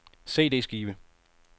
CD-skive